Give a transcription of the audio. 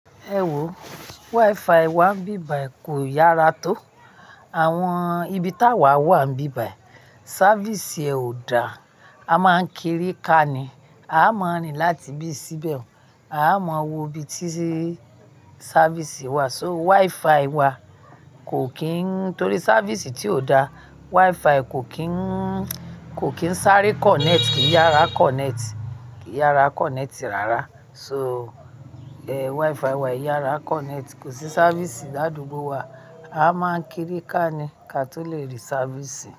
Ewo wifi wa n bi báyìí kò yára tó. Àwọn ibi táa wa wà n bi báyìí, sáfìsì è ò dáa, a máa ń kiri ká ni. A máa rín láti bí sí bẹ̀ un a máa wo ibi tí sáfìsì wà. So wifi wa kò kín torí sáfìsì tí ò da, wifi kò kín, kò kín sáré kọ̀nẹ́ẹ̀tì, kìí yára kọ̀nẹ́ẹ̀tì, kìí yára kọ̀nẹ́ẹ̀tì rárá. So wifi wa i yára kọ̀nẹ́ẹ̀tì, kò sí sáfìsì ní àdúgbò wa. A máa ń kiri ká ni ká tó le rí sáfìsì.